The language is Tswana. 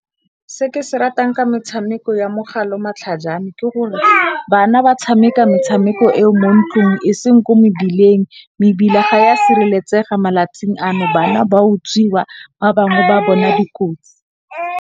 Se ke se ratang ka metshameko ya mogala o matlhajane, ke gore bana ba tshameka metshameko e o mo ntlong e seng ko mebileng. Mebila ga ya sireletsega malatsing ano bana ba utswiwa ba bangwe ba bona dikotsi.